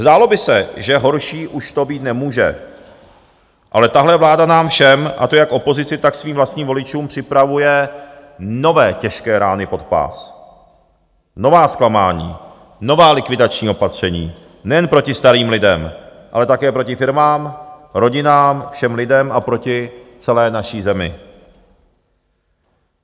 Zdálo by se, že horší už to být nemůže, ale tahle vláda nám všem, a to jak opozici, tak svým vlastním voličům, připravuje nové těžké rány pod pás, nová zklamání, nová likvidační opatření - nejen proti starým lidem, ale také proti firmám, rodinám, všem lidem a proti celé naší zemi.